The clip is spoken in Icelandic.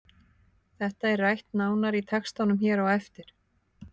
Þetta er rætt nánar í textanum hér á eftir.